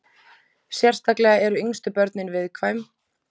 Sérstaklega eru yngstu börnin viðkvæm.